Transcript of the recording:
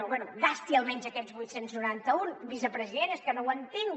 bé gasti almenys aquests vuit cents i noranta un vicepresident és que no ho entenc